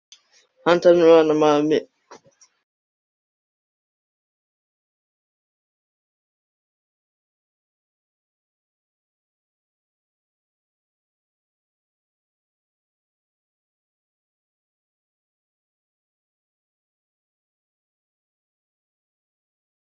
Loks rak hungrið mig til að stela mér til matar.